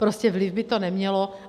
Prostě vliv by to nemělo.